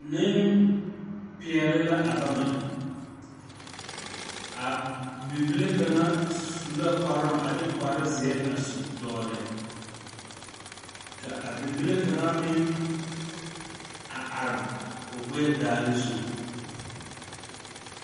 Neŋpeɛɛle la a bama a bibile kaŋa su la kparoŋ a de kparezeɛ a su dɔgle ka a bibile kaŋa meŋ a are o gbɛɛ daare zu.